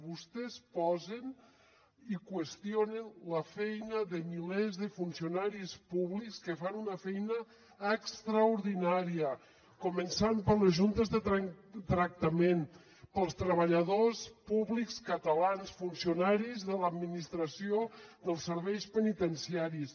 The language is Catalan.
vostès posen i qüestionen la feina de milers de funcionaris públics que fan una feina extraordinària començant per les juntes de tractament pels treballadors públics catalans funcionaris de l’administració dels serveis penitenciaris